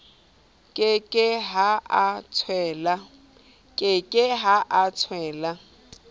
ke ke ha o tswela